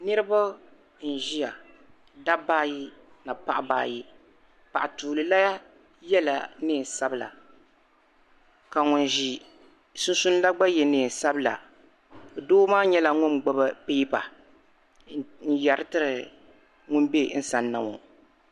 Niriba n ʒiya dabba ayi ni paɣ'ba ayi paɣa tuuli la yela neei sabila ka ŋuni ʒi sunsuuni la gba ye neei sabila doo maa nyɛla ŋuni gbubi piipa n yeri tiri ŋuni bɛ ti zani ŋɔ